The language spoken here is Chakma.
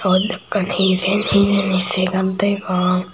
yot ekkan hijen hijeni segar degong.